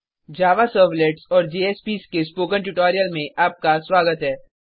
Java servlets and JSPs के tutorial में आपका स्वागत है